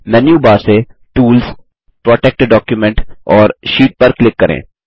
menu bar से tools protect document और sheet पर क्लिक करें